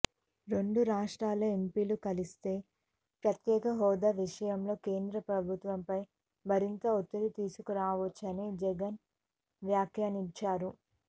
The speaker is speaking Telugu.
రెండు రాష్ట్రాల ఎంపీలు కలిస్తే ప్రత్యేక హోదా విషయంలో కేంద్ర ప్రభుత్వంపై మరింత ఒత్తిడి తీసుకురావొచ్చని జగన్ వ్యాఖ్యానించారు